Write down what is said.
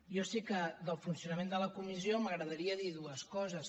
jo sí que del funcionament de la comissió m’agradaria dir ne dues coses